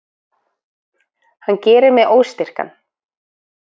Hann gerir mig óstyrkan.